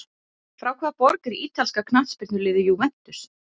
Frá hvaða borg er ítalska knattspyrnuliðið Juventus?